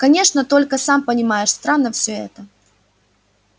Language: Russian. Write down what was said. конечно только сам понимаешь странно всё это